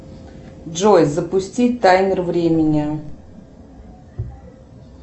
джой запустить таймер времени